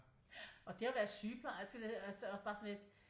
Og det og være sygeplejerske det altså det bare sådan lidt